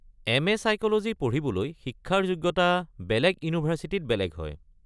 M A. Psychology পঢ়িবলৈ শিক্ষাৰ যোগ্যতা বেলেগ ইউনিভাৰ্ছিটিত বেলেগ হয়।